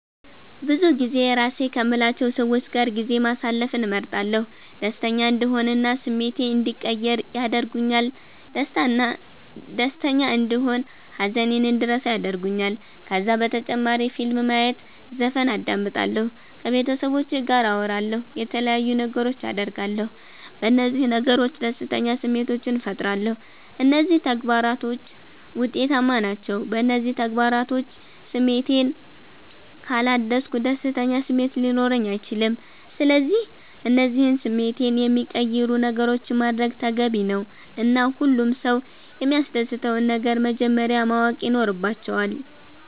ብዙጊዜ የራሴ ከምላቸዉ ሰዎች ጋር ጊዜ ማሰለፍን እመርጣለሁ። ደሰተኛ እንድሆን እና ስሜቴ እንዲቀየር ያደርገኛል ደስተና እንደሆን ሃዘኔን እንድረሳ ያረጉኛል። ከዛ በተጨማሪ ፊልም ማየት ዘፈን አዳምጣለሁ። ከቤተሰቦቼ ጋር አወራለሁ የተለያዩ ነገሮች አደርጋለሁ። በነዚህ ነገሮች ደስተኛ ስሜቶችን ፈጥራለሁ። እነዚህ ተግባራቶች ዉጤታማ ናቸዉ። በእነዚህ ተግባራቶች ስሜቴን ካላደስኩ ደስተኛ ስሜት ሊኖረኝ አይችልም። ስለዚህ እነዚህን ስሜቴን የሚቀይሩ ነገሮችን ማድረግ ተገቢ ነዉ እና ሁሉም ሰዉ የሚያሰደስተዉን ነገር መጀመረያ ማወቅ ይኖረባቸዋል